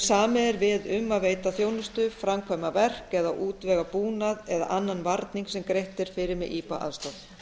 samið er við um að veita þjónustu framkvæma verk eða útvega búnað eða annan varning sem greitt er fyrir með ipa aðstoð